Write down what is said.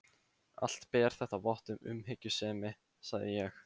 Allt ber þetta vott um umhyggjusemi, sagði ég.